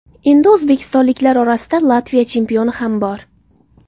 Endi o‘zbekistonliklar orasida Latviya chempioni ham bor.